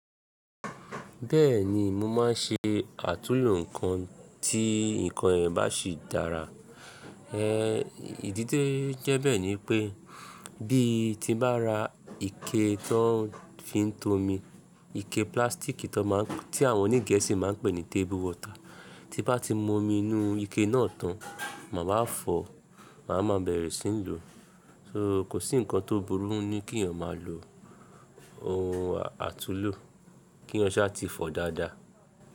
Bẹ́ẹ̀ni mo máa ń ṣe àtúnlo ǹkan tí ǹkan yẹn bá sì dára. Ídì ti o jẹ́ bẹ́ẹ̀ ni pé bí ti n bá ra ike tó ń fi tó omi, ike plastic tí àwọn oní Gẹ̀ẹ́sì máa ń pè ní table water, tí n bá ti mu omi inú ike náà tán, máa wá fọ̀, màá má bẹ̀rẹ̀ sí ń lo. So kò sí ǹkan tó burú ní kí ẹ̀yàn máa lo ohun àtúlo, ki eeyan ṣá ti fọ dáadáa.